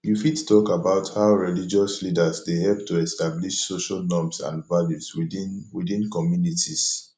you fit talk about how religious leaders dey help to establish social norms and values within within communities